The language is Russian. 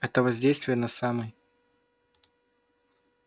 это воздействие на самой